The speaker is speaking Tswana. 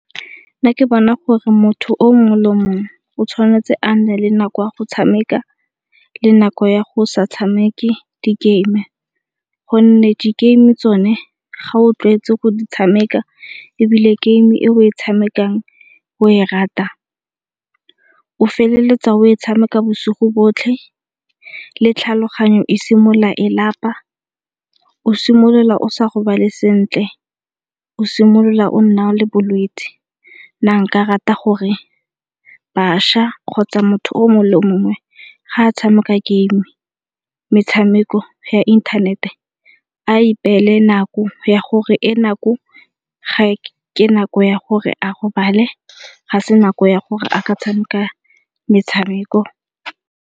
Ke ne ke bona gore motho o mongwe le mongwe o tshwanetse a nne le nako ya go tshameka le nako ya go sa tshameke di game, gonne di game tsone ga o tlwaetse go di tshameka ebile game e o e tshamekang o e rata o feletsa o e tshameka bosigo botlhe le tlhaloganyo e simolola e lapa, o simolola o sa robale sentle, o simolola o nna le bolwetse. Nna nka rata gore bašwa kgotsa motho o mongwe le o mongwe ga a tshameka game, metshameko ya inthanete a ipeele nako ya gore e nako ke nako ya gore a robale ga se nako ya gore a ka tshameka metshameko.